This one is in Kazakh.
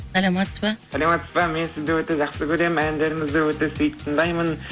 саламатсыз ба саламатсыз ба мен сізді өте жақсы көремін әндеріңізді өте сүйіп тыңдаймын